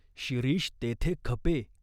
शिरीष तेथे खपे.